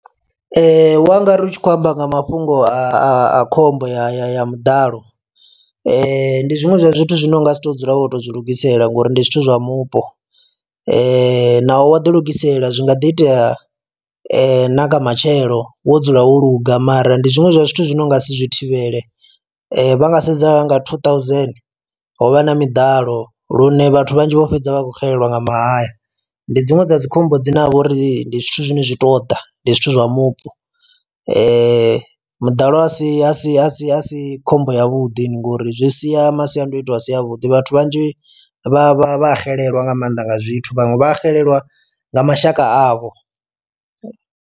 Wa ngari u tshi khou amba nga mafhungo a khombo ya ya ya muḓalo ndi zwiṅwe zwa zwithu zwine u ngasi to dzula wo to u zwi lugisela ngori ndi zwithu zwa mupo, naho wa ḓi lugisela zwi nga ḓi itea na nga matshelo wo dzula wo luga mara ndi zwiṅwe zwa zwithu zwi no nga si zwi thivhele vha nga sedza nga two thousand ho vha na miḓalo lune vhathu vhanzhi vho fhedza vha khou xelelwa nga mahaya ndi dziṅwe dza dzi khombo dzine ha vha uri ndi zwithu zwine zwi to ḓa ndi zwithu zwa mupo. Muḓalo asi asi asi asi khombo ya vhuḓi ngori zwi sia masiandaitwa a si a vhuḓi vhathu vhanzhi vha vha vha xelelwa nga maanḓa nga zwithu vhaṅwe vha xelelwa nga mashaka avho.